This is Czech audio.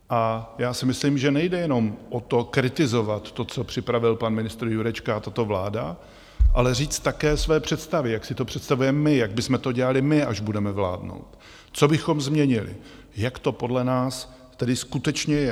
A já si myslím, že nejde jenom o to kritizovat to, co připravil pan ministr Jurečka a tato vláda, ale říct také své představy, jak si to představujeme my, jak bychom to dělali my, až budeme vládnout, co bychom změnili, jak to podle nás tedy skutečně je.